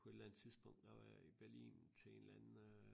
På et eller andet tidspunkt der var jeg i Berlin til en eller anden øh